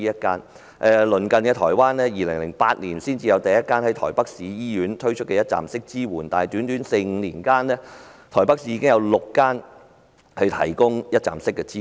反觀鄰近的台灣，當地在2008年才有首個設於台北市醫院的一站式支援中心，但在短短四五年間，台北市已有6間醫院提供一站式支援。